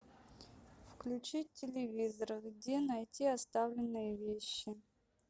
включить телевизор где найти оставленные вещи